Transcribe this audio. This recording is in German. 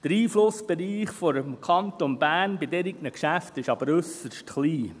Der Einflussbereich des Kantons Bern bei solchen Geschäften ist aber äusserst klein.